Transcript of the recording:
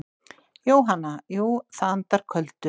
Jóhanna: Jú það andar köldu.